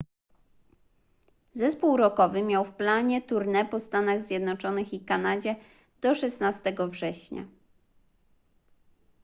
zespół rockowy miał w planie tournée po stanach zjednoczonych i kanadzie do 16 września